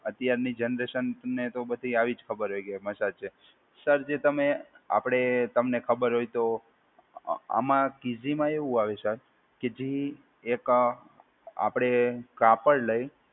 અત્યારની જનરેશનને તો બધી આવી જ ખબર હોય કે મસાજ છે. સર જે તમે આપડે તમને ખબર હોય તો આમાં કીઝીમાં એવું આવે સર કે જે એક આપડે કાપડ લઈ